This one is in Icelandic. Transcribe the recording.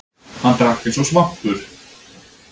Hann drakk eins og svampur.